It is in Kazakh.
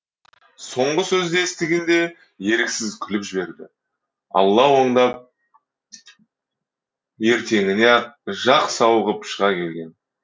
соңғы сөзді естігенде еріксіз күліп жіберді алла оңдап ертеңіне ақ сауығып шыға келген